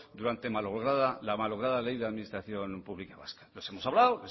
durante la malograda ley de administración pública vasca les hemos hablado